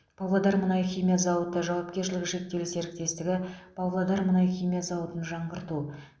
павлодар мұнайхимия зауыты жауапкершілігі шектеулі серіктестігі павлодар мұнайхимия зауытын жаңғырту